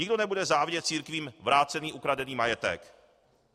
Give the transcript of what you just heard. Nikdo nebude závidět církvím vrácený ukradený majetek.